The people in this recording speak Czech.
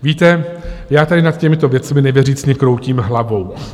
Víte, já tady nad těmito věcmi nevěřícně kroutím hlavou